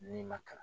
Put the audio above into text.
N'i ma kalan